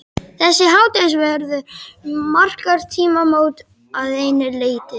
Þessi hádegisverður markar tímamót að einu leyti.